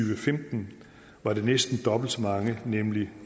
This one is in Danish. og femten var det næsten dobbelt så mange nemlig